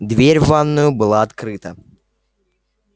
дверь в ванную была открыта